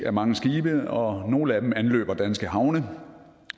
af mange skibe og nogle af dem anløber danske havne